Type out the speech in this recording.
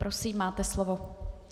Prosím, máte slovo.